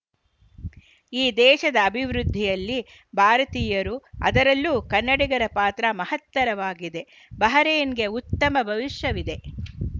ಈ ದೇಶದ ಅಭಿವೃದ್ಧಿಯಲ್ಲಿ ಭಾರತೀಯರು ಅದರಲ್ಲೂ ಕನ್ನಡಿಗರ ಪಾತ್ರ ಮಹತ್ತರವಾಗಿದೆ ಬಹರೇನ್‌ಗೆ ಉತ್ತಮ ಭವಿಷ್ಯವಿದೆ